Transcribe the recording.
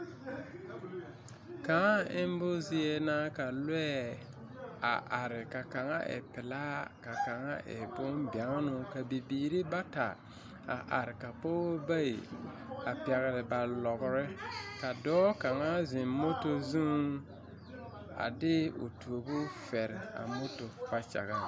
Kãã embo zie na ka lɔɛ a are ka kaŋa e pelaa ka kaŋa e bombɛŋenoo ka bibiiri bata a are ka pɔgeba bayi a pɛgele ba lɔgere ka dɔɔ kaŋa zeŋ moto zuŋ a de o tuobu fɛre a moto kpakyag.